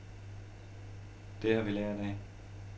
Det har vi lært af.